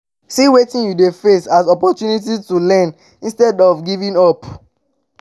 see wetin you de face as opportunity to learn instead of giving up